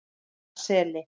Jaðarseli